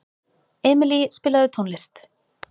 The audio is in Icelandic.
Emilý, spilaðu tónlist.